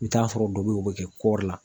I bi t'a sɔrɔ dɔ bɛ yen o bɛ kɛ kɔɔri la.